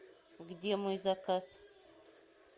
где мой заказ